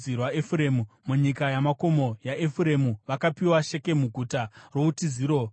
Munyika yamakomo yaEfuremu vakapiwa Shekemu (guta routiziro) neGezeri,